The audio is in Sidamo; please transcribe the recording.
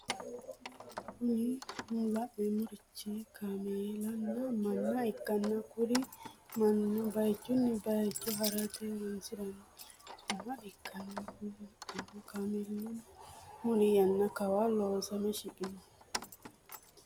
Kuri lanemorichi kamelana mana ikana kuri manino bayichuni bayicho harate horonisirani lelanoha ikana kuni lelano kamelino muli yana kawanni loosame shiqqinoho.